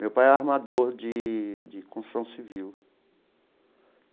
Meu pai é armador de de construção civil.